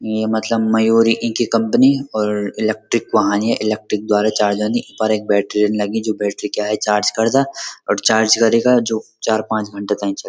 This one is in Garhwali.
ये मतलब मयूरी इनकी कंपनी और इलेक्ट्रिक वाहन या इलेक्ट्रिक द्वारा चार्जंदी पर येक बैट्री नि लगीं जू बैट्री क्या ये चार्ज करदा और चार्ज करिका जू चार पांच घंटा तैं च।